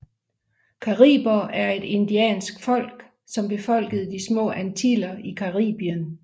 Cariber er et indiansk folk som befolkede De små antiller i Caribien